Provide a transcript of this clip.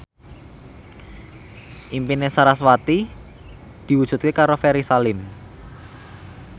impine sarasvati diwujudke karo Ferry Salim